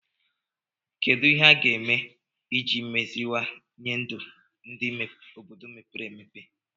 Kedu ihe a ga-eme iji meziwanye ndụ n'ime obodo mepere emepe